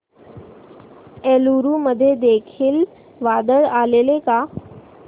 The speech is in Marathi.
एलुरू मध्ये देखील वादळ आलेले का